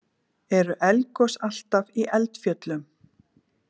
Eru eldgos alltaf í eldfjöllum?